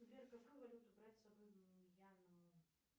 сбер какую валюту брать с собой в мьянму